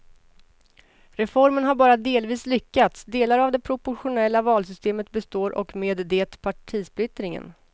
Reformen har bara delvis lyckats, delar av det proportionella valsystemet består och med det partisplittringen.